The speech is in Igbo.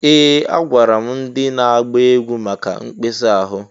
Ee! Agwara m ndị na-agba egwu maka mkpesa ahụ.